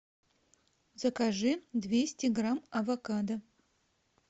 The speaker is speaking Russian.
закажи двести грамм авокадо